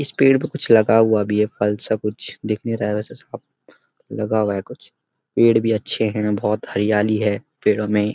इस पेड़ पे कुछ लगा हुआ भी है फल-सा कुछ दिख नहीं रहा है वैसे साफ लगा हुआ है कुछ पेड़ भी अच्‍छे है बहोत हरियाली है पेड़ो में।